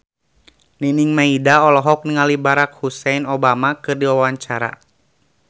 Nining Meida olohok ningali Barack Hussein Obama keur diwawancara